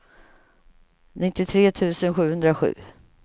nittiotre tusen sjuhundrasju